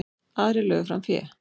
Aðrir lögðu fram fé.